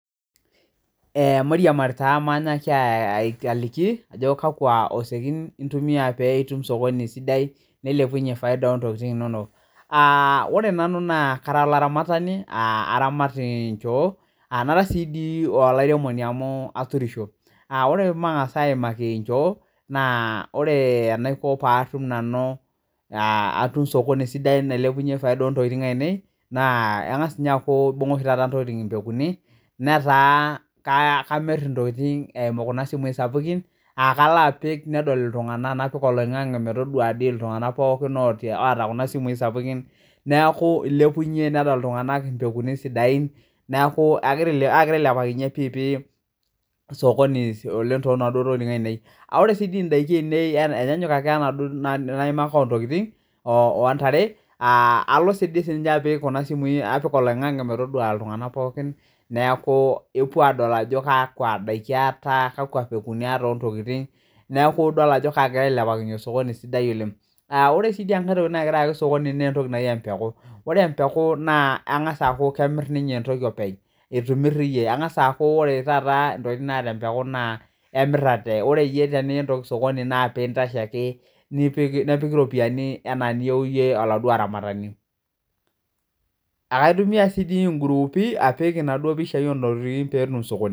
Mairiamari taa mainyiaki aliki ajo kakua osekin intumia pee itum isokoni sidai neilepunye faida oo ntokiting inonok, ore nanu naa kara olaramatani aa aramat inchoo nara sii dii olairemoni amu arurisho, ore matang'asa aimaki inchoo ,naa ore enaiko paatum nanu atum osokoni sidai nailepunyie efaida oo ntokiting' ainei naa ang'as ninyee aaku ebung'a oshii taata intokiting' impekuni netaa kamirr intokiting' eimu kuna simuyi sapukin, aa kalo apik nedol iltung'anak napik oloing'ang'e metadua dii iltung'anak pookin oota kuna simuyi sapukin neeku elepunyie nedolta iltung'anak impekui sidain, neeku egira aagira ailepakinyie pii pii osokoni oleng' toonaduo tokitin ainei, aa ore sii dii indaikin ainei enyanyuk akee wenaduoo naimakaa oo ntokiting' oontare aa alo dii sinche apik kuna simuyi napik oloingange metadua iltung'anak pookin neeku epuo aadol ajo kakua daiki aata, kakua pekuni aata oo ntokiting' neeku idol ajo kaagira ailepakinyie osokoni sidai oleng' neeku ore sii dii enkae toki nagiraa ayaki osokoni naa entoki najii empeku, ore empeku naa engasa aaku kemirr ninye entoki openly itu imirr iye engasa aaku ore taata intokiting' naata empeku naa emirrr atee, ore iye teniyieu osokoni naa pee intasho ake nipik nepiki iropiyiani enaa niyeu iye oladuoo aramatani, ekaitumia dii sii ingurupii apik inaduo pishai oo ntokiting' pee etum osokoni.